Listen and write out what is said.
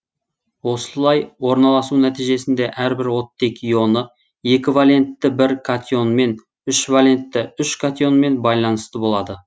осылай орналасу нәтижесінде әрбір оттек ионы екі валентті бір катионмен үш валентті үш катионмен байланысты болады